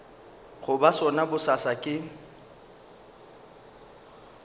go ba sona bosasa ke